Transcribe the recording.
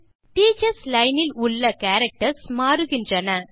teachers line இல் உள்ள characters மாறுகின்றன